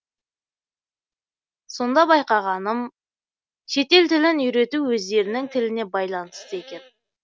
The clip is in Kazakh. сонда байқағаным шетел тілін үйрету өздерінің тіліне байланысты екен